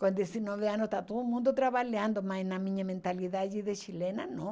Com dezenove anos está todo mundo trabalhando, mas na minha mentalidade de chilena, não.